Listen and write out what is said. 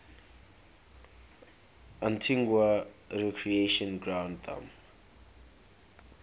antigua recreation ground thumb